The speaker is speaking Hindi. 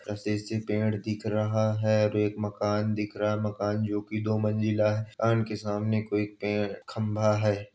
रसे से पेड़ दिख रहा है और एक मकान दिख रहा है। मकान जोकि दो मंजिला ह् । मकान के सामने कोई पेड़ खंभा है।